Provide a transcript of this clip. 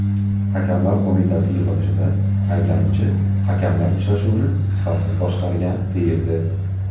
Hakamlar Qo‘mitasi yig‘ilishida ayblanuvchi hakamlar uchrashuvni sifatsiz boshqargan, deyildi.